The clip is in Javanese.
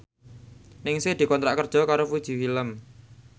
Ningsih dikontrak kerja karo Fuji Film